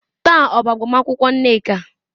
Taa ọ bụ agbamakwụkwọ Nneka?